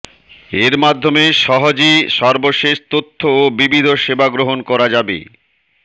এর মাধ্যমে সহজে সর্বশেষ তথ্য ও বিবিধ সেবা গ্রহণ করা যাবে